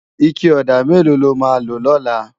Iké òdá méló ló má lo lòlá?